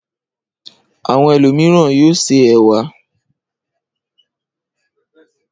Àwọn ẹlòmíràn yóò se ẹ̀wà.